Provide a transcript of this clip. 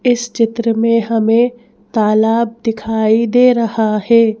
इस चित्र में हमें तालाब दिखाई दे रहा है।